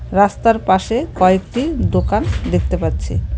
রাস্তার পাশে কয়েকটি দোকান দেখতে পাচ্ছি।